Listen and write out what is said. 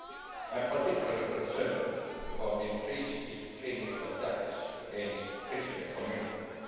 I am particularly concerned about increased extremists attacks against Christian communities.